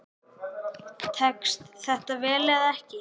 Tekst þetta vel eða ekki?